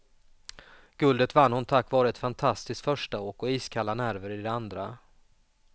Guldet vann hon tack vare ett fantastiskt förstaåk, och iskalla nerver i det andra.